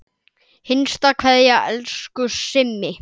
HINSTA KVEÐJA Elsku Simmi.